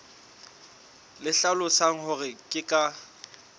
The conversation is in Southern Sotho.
le hlalosang hore ke ka